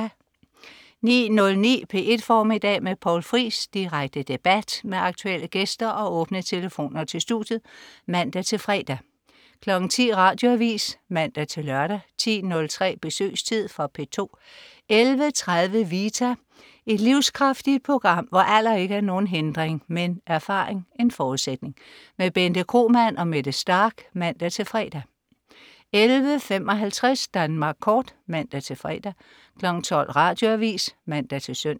09.09 P1 Formiddag med Poul Friis. Direkte debat med aktuelle gæster og åbne telefoner til studiet (man-fre) 10.00 Radioavis (man-lør) 10.03 Besøgstid. Fra P2 11.30 Vita. Et livskraftigt program, hvor alder ikke er nogen hindring, men erfaring en forudsætning. Bente Kromann og Mette Starch (man-fre) 11.55 Danmark Kort (man-fre) 12.00 Radioavis (man-søn)